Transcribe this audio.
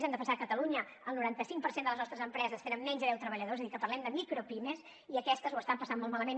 hem de pensar que a catalunya el noranta cinc per cent de les nostres empreses tenen menys de deu treballadors és a dir que parlem de micropimes i aquestes ho estan passant molt malament